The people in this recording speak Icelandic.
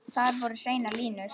Þar voru hreinar línur.